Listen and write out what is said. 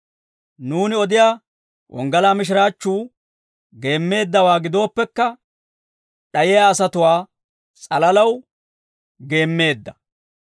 Nuuni odiyaa wonggalaa mishiraachchuu geemmeeddawaa gidooppekka, d'ayiyaa asatuwaa s'alalaw geemmeedda.